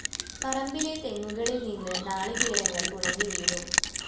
പറമ്പിലെ തെങ്ങുകളില്‍നിന്ന് നാളികേരങ്ങള്‍ ഉണങ്ങി വീണു